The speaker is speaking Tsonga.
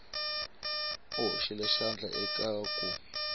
u hoxile xandla eka ku